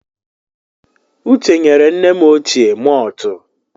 Uche nyere nne m ochie maltụ.